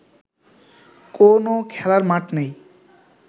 কোন খেলার মাঠ নেই